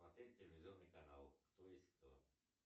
смотреть телевизионный канал кто есть кто